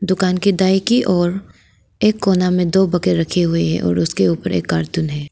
दुकान के दाई की ओर एक कोना में दो बकेट रखे हुए हैं और उसके ऊपर एक कार्टून है।